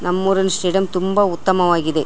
ನಮ್ಮೂರಲ್ಲಿ ಸ್ಟೇಡಿಯಂ ತುಂಬಾ ಉತ್ತಮವಾಗಿದೆ.